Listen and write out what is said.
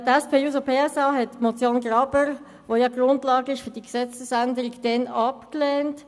Die SPJUSO-PSA-Fraktion hatte die Motion Graber, die die Grundlage für diese Gesetzesrevision bildet, damals abgelehnt.